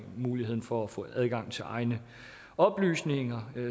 muligheden for at få adgang til egne oplysninger